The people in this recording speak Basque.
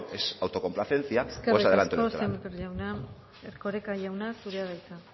es autocomplacencia pues adelante eskerrik asko sémper jauna erkoreka jauna zurea da hitza